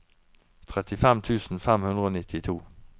trettifem tusen fem hundre og nittito